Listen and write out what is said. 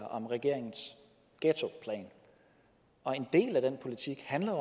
om regeringens ghettoplan og en del af den politik handler